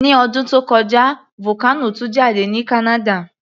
Ní ọdún tó kọjá, vocano tú jáde ní Canada